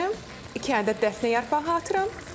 İndi iki ədəd dəfnə yarpağı atıram.